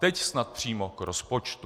Teď snad přímo k rozpočtu.